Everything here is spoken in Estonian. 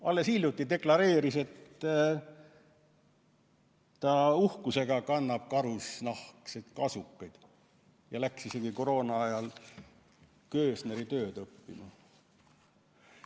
Alles hiljuti ta deklareeris, et ta uhkusega kannab karusnahkseid kasukaid, ja läks isegi koroona ajal köösneritööd õppima.